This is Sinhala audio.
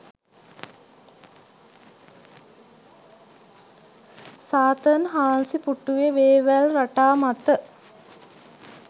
සාතන් හාන්සි පුටුවෙ වෙවැල් රටා මත